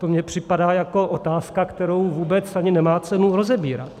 To mně připadá jako otázka, kterou vůbec ani nemá cenu rozebírat.